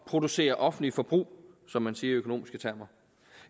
at producere offentligt forbrug som man siger i økonomiske termer